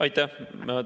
Aitäh!